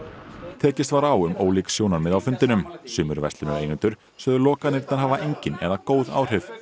tekist var á um ólík sjónarmið á fundinum sumir verslunareigendur sögðu lokanirnar hafa engin eða góð áhrif